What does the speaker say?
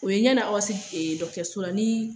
O ye ɲana aw ka se so la nii